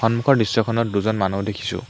সন্মুখৰ দৃশ্যখনত দুজন মানুহ দেখিছোঁ।